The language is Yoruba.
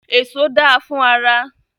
Èso da fún ara.